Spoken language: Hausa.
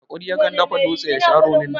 Mai hakuri ya kan dafa dutse ya sha ronin da